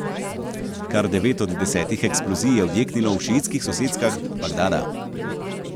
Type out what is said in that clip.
Kar devet od desetih eksplozij je odjeknilo v šiitskih soseskah Bagdada.